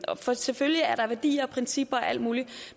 for selvfølgelig er der værdier og principper og alt muligt